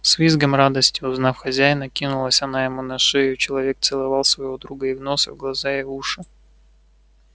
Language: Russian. с визгом радости узнав хозяина кинулась она ему на шею и человек целовал своего друга и в нос и в глаза и в уши